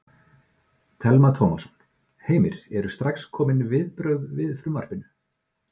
Telma Tómasson: Heimir, eru strax komin viðbrögð við frumvarpinu?